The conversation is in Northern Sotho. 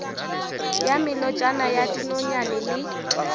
ya melotšana ya dinonyane le